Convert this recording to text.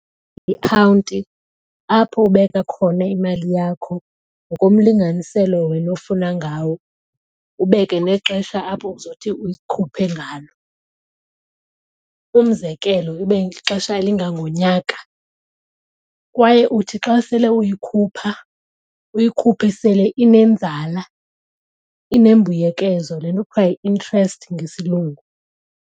Ikhawunti apho ubeka khona imali yakho ngokomlinganiselo wena ofuna ngawo ubeke nexesha apho uzothi uyikhuphe ngalo. Umzekelo, ibe lixesha elingangonyaka kwaye uthi xa sele uyikhupha uyikhuphe sele inenzala, inembuyekezo le nto kuthiwa yi-interest ngesiLungu.